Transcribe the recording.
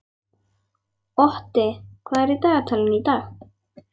Otti, hvað er í dagatalinu í dag?